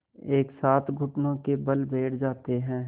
एक साथ घुटनों के बल बैठ जाते हैं